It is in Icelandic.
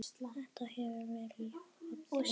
Þetta hefur verið ójafn leikur.